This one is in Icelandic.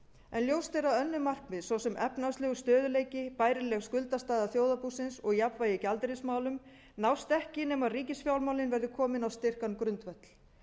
en ljóst er að önnur markmið svo sem efnahagslegur stöðugleiki bærileg skuldastaða þjóðarbúsins og jafnvægi í gjaldeyrismálum nást ekki nema ríkisfjármálin verði komin á styrkan grundvöll